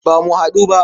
Ba mu haɗu ba.